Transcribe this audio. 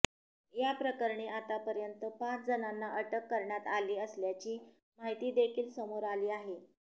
याप्रकरणी आता पर्यंत पाच जणांना अटक करण्यात आली असल्याची माहिती देखील समोर आली आहे